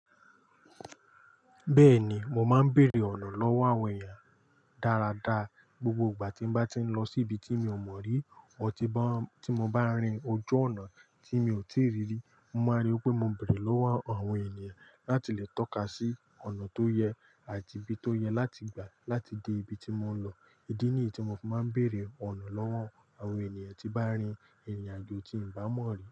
Bẹ́ẹ̀ni, mo máa ń bèèrè ọ̀nà lọ́wọ́ àwọn ènìyàn dáradára. Gbogbo ìgbà tí n bá ti ń lọ sí ibi tí mi ò mọ̀ rí o ti bá tí mo bá rìn ojú ọ̀nà tí mi ò tíì rí rí, mo máa rí pé mo ń bèèrè lọ́wọ́ àwọn ènìyàn láti lè tọ́ka sí ọ̀nà tó yẹ àti ibi tó yẹ láti gbà láti dé ibi tí mò ń lọ. Ídí nìyí tí mo fi máa ń bèèrè ọ̀nà lọ́wọ́ àwọn ènìyàn tí bá rìn ìrìnàjò tí n bá mọ̀ rí.